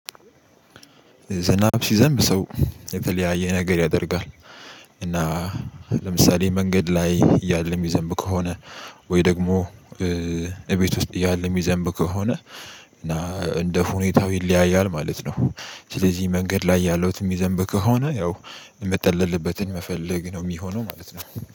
ዝናብ ሲዘንብ ሰው የተለያየ ነገር ያደርጋል። እና ለምሳሌ መንገድ ላይ እያለም ይዘንብ ከሆነ ወይ ደግሞ እቤት ውስጥ እያለህ ይዘንብ ከሆነ እና እንደ ሁኔታው ይለያያል ማለት ነው። ስለዚህ መንገድ ላይ ያለውት የሚዘንብ ከሆነ ያው የምትጠለልበትን መፈለግ ነው የሚሆነው ማለት ነው